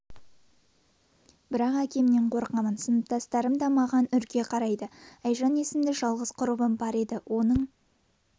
бірақ әкемнен қорқамын сыныптастарым да маған үрке қарайды айжан есімді жалғыз құрбым бар еді оның